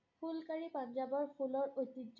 ফুলকাৰী পঞ্জাৱৰ ফুলৰ ঐতিহ্য।